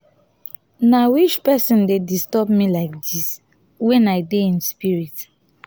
na which person dey disturb me laidis when i dey in spirit